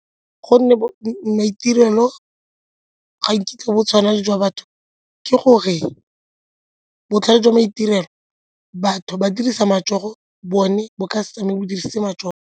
Gonne maitirelo ga nkitla bo tshwana le jwa batho, ke gore botlhale jwa maitirelo batho ba dirisa matsogo bone bo ka se tsamaye bo dirisitse matsogo.